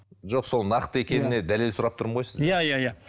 жоқ сол нақты екеніне дәлел сұрап тұрмын ғой сізден иә иә иә